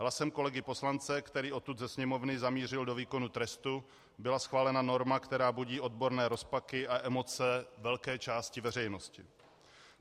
Hlasem kolegy poslance, který odtud ze Sněmovny zamířil do výkonu trestu, byla schválena norma, která budí odborné rozpaky a emoce velké části veřejnosti.